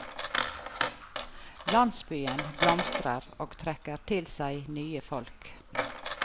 Landsbyen blomstrer og trekker til seg nye folk.